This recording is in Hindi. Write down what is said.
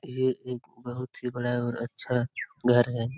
ये एक बहुत ही बड़ा और अच्छा घर है ।